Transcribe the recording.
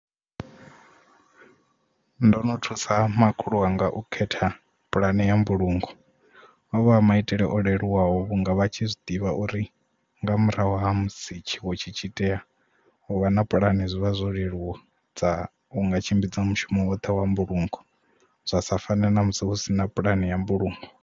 Ndo no thusa makhulu wanga u khetha pulane ya mbulungo ovha a maitele o leluwaho vhunga vha tshi zwiḓivha uri nga murahu ha musi tshiwo tshi tshi tea u vha na pulani zwivha zwo leluwa dza unga tshimbidzwa mushumo woṱhe wa mbulungo zwa sa fane na musi hu sina pulane ya mbulungo.